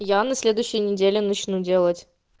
я на следующей недели начну делать